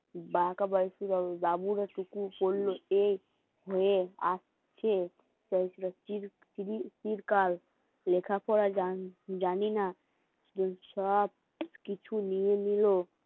লেখাপড়া জানে জানি না তোর সব কিছু নিয়ে নিলো ওরা নতুন কিছু না